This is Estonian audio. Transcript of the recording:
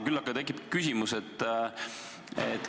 Küll aga tekib küsimus.